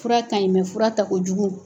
Fura ka ɲi fura tako jugu